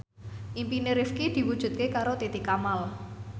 impine Rifqi diwujudke karo Titi Kamal